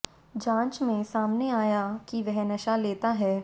जांच में सामने आया कि वह नशा लेता है